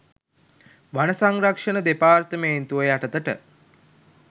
වන සංරක්ෂණ දෙපාර්තමේන්තුව යටතට